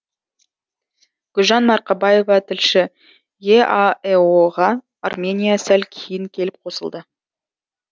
гүлжан марқабаева тілші еаэо ға армения сәл кейін келіп қосылды